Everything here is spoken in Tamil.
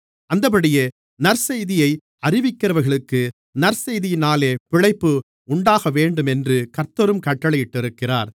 அந்தப்படியே நற்செய்தியை அறிவிக்கிறவர்களுக்கு நற்செய்தியினாலே பிழைப்பு உண்டாகவேண்டுமென்று கர்த்தரும் கட்டளையிட்டிருக்கிறார்